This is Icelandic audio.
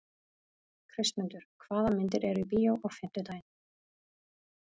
Kristmundur, hvaða myndir eru í bíó á fimmtudaginn?